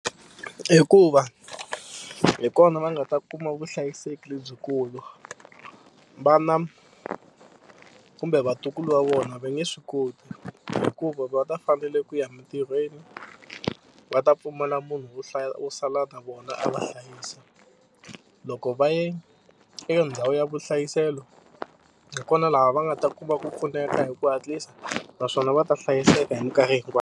Hikuva hi kona va nga ta kuma vuhlayiseki lebyikulu. Vana kumbe vatukulu va vona va nge swi koti hikuva va ta fanele ku ya emintirhweni va ta pfumala munhu wo hlaya wo sala na vona a va hlayisa. Loko va ye eka ndhawu ya vuhlayiselo hi kona laha va nga ta kuma ku pfuneka hi ku hatlisa naswona va ta hlayiseka hi mikarhi .